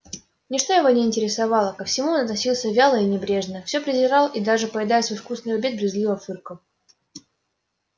ничто его не интересовало ко всему он относился вяло и небрежно все презирал и даже поедая свой вкусный обед брезгливо фыркал